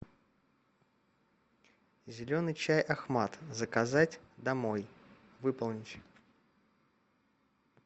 зеленый чай ахмат заказать домой выполнить